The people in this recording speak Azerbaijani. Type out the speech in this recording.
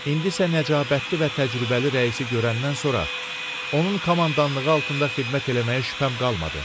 İndisə nəcabətli və təcrübəli rəisi görəndən sonra, onun komandanlığı altında xidmət eləməyə şübhəm qalmadı.